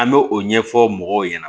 An bɛ o ɲɛfɔ mɔgɔw ɲɛna